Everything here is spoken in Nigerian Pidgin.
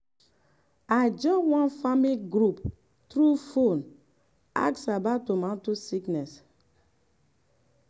i join one farming group through phone ask about tomato sickness.